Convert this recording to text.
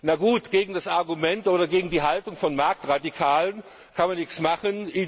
Na gut, gegen das Argument oder gegen die Haltung von Marktradikalen kann man nichts machen.